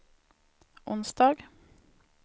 onsdag